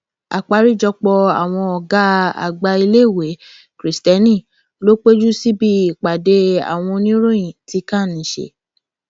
àgbáríjọpọ àwọn ọgá àgbà iléèwé kristẹni ló péjú síbi ìpàdé àwọn oníròyìn tí can ṣe